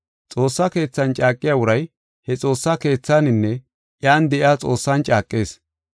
Xoossa keethan caaqiya uray, he xoossa keethaninne iyan de7iya Xoossan caaqees.